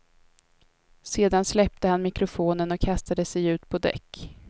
Sedan släppte han mikrofonen och kastade sig ut på däck.